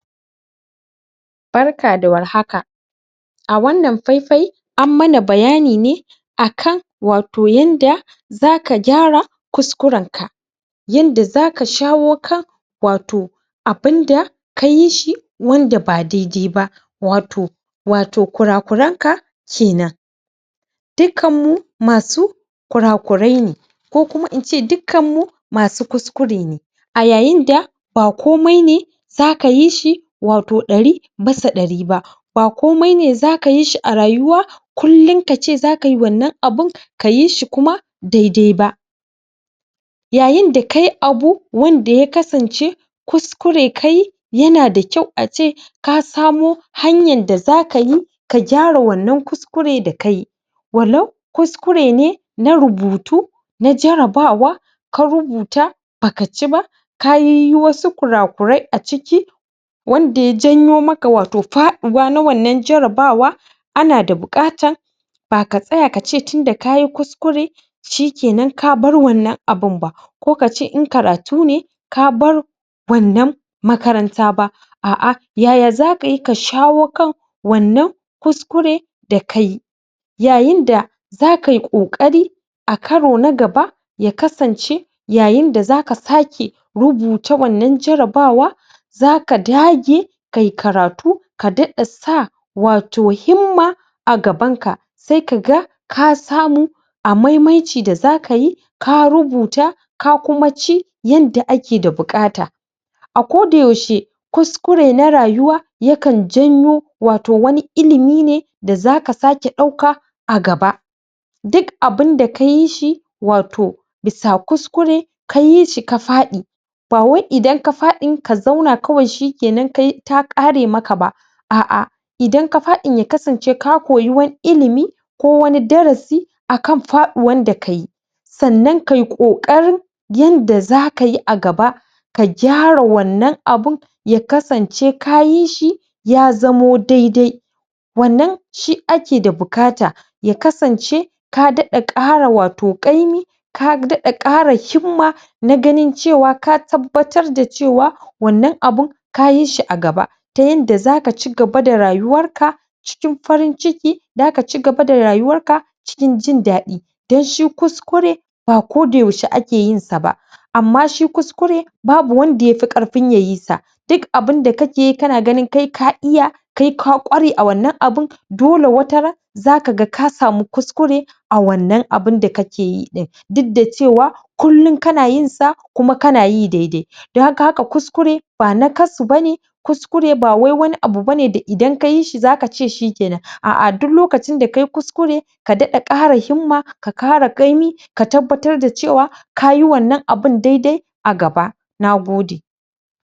Barka da warhaka a wana faifai anmana bayani nai akan wato yenda zaka gyara kuskuren ka yanda zaka shawo kan wato abinda kayi shi wanda ba daidai ba wato wato kurakuranka kenan dukan mu masu kurakuran ne kokuma ince dukan mu masu kuskure ne a yayinda ba komai ne zaka yi shi wato dari bisa ɗari ba bakomai ne zaka yi shi a rayuwa kullum kace zaka yi wanan abun kayi shi kuma dai dai ba yayin da kayi abu wanda ya kasance kuskure kayi yanada kyau ace kasamo hanyar da zakayi ka gyara wana kuskure da kayi wallau kuskure ne na rubutu na jarabawa ka rubuta baka ciba kayiyi wasu kurakurai acikin wanda ya janyo maka wato faɗuwa Wana jarabawa ana da buƙatar baka tsaya kace tunda kayi kuskure shikena kabar Wana abunba ko kace in karatune kabar wanan makaranta ba ah ah yaya zakayi ka shawo kan Wana kuskure da kayi yayin da zaka yi kokari akaro na gaba ya kasance yayinda zaka sake rubuta Wana jarabawa zaka dage ka yi karatu ka daɗa sa wato himma agaban ka saika ga kasamu a maimaicin da zakayi ka rubuta kakuma ci yada ake da bukata ako da yaushe kuskure na rayuwa yakan janyo wato wani ilimi da zaka sake ɗauka a gaba duk abinda kayi shi wato bisa kuskure kayi shi kafaɗi ba wai inda kafaɗi ka zauna kawai shikena kai ta kare maka ba a'a indan kafaɗi yakasance ka koyi wani ilimi ko wani darasi akan faduwan dakayi sana kayi kokarin yanda zakayi a gaba ka gyara Wana abun ya kasance kayi shi ya zamo daidai Wana shi ake da bukata yakasance kadaɗa kara wato ƙaimi kadaɗa kara wato ƙaimi na gani cewa ka tabbatar da cewa Wana abun kayi shi gaba da yanda zaka cigaba da rayuwar ka cikin farin ciki zaka cigaba da rayuwar ka cikin jin dadi dan shi kuskure bako da yaushe akeyinsa ba amman shi kuskure babu wanda yafe karfin yayi sa duk abinda kake yi kana gani kai kaiya kai ka kware a Wana abun dole wataran zaka ga kasamu kuskure a Wana abunda kakeyi din duk da cewa kullum kanayin sa kanayi daidai dan haka kuskure ba nakasu bane kuskure bawai wani abu bane da indan kayi shi zaka ce shi kena a'a duk lokacin da kayi kuskure kadaɗa kara himma kakara kaimi ka tabbatar da cewa kayi Wana abun daidai agaba nagode